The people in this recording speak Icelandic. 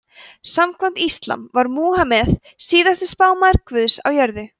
samkvæmt íslam var múhameð síðasti spámaður guðs á jörðu